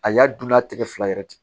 A y'a dun n'a tigɛ fila yɛrɛ tɛ